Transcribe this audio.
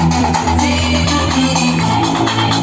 Heç kimə heç nə yox!